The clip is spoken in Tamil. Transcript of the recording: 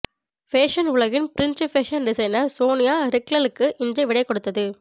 ஃபேஷன் உலகின் பிரஞ்சு பேஷன் டிசைனர் சோனியா ரிக்லலுக்கு இன்று விடைகொடுத்தது